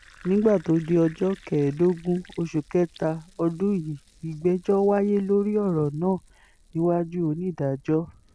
nígbà tó di ọjọ́ kẹẹ̀ẹ́dọ́gbọ̀n oṣù kẹta ọdún yìí ìgbẹ́jọ́ wáyé lórí ọ̀rọ̀ náà níwájú onídàájọ́ l